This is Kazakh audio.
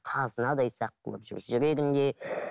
қазынадай сақ қылып жүр жүрегінде